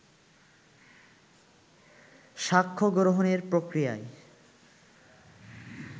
সাক্ষ্য গ্রহণের প্রক্রিয়ায়